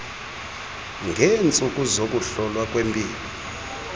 ngeentsuku zokuhlolwa kwempilo